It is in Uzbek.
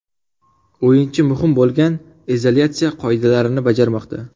O‘yinchi muhim bo‘lgan izolyatsiya qoidalarini bajarmoqda.